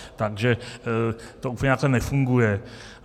Takže to úplně takhle nefunguje.